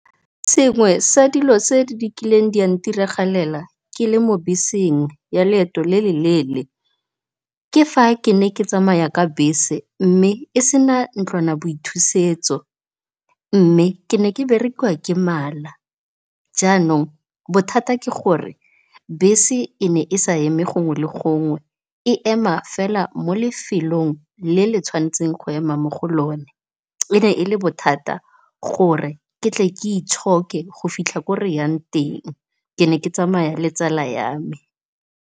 Sengwe sa dilo tse di kileng di a ntiragalela ke le mo beseng ya leeto le leele ke fa ke ne ke tsamaya ka bese mme e sena ntlwanaboithusetso, mme ke ne ke berekiwa ke mala jaanong bothata ke gore bese e ne e sa eme gongwe le gongwe e ema fela mo lefelong le le tshwantseng go ema mo go lone. E ne e le bothata gore ke tle ke itshoke go fitlha ko reyang teng ke ne ke tsamaya le tsala yame.